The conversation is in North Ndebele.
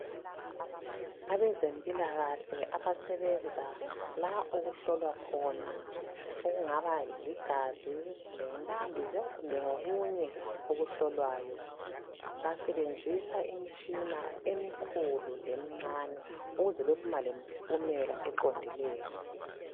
Abezempilakahle abasebenza la okuhlolwa khona okungaba ligazi ,umthambiso kumbe okunye okuhlolwayo .Basebenzisa Imtshina emkhulu lemncane ukuze bephume lempumela eqondileyo .